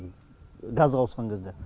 газға ауысқан кезде